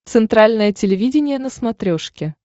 центральное телевидение на смотрешке